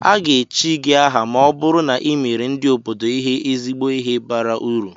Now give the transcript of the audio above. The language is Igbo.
Aga-echi gị aha ma ọ bụrụ na i meere ndị obodo ihe ezigbo ihe bara uru